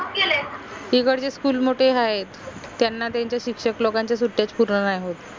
इकडची school मोटे हायत त्यांना त्यांच्या शिक्षक लोकांच्या सुट्ट्याचं पूर्ण नाई होत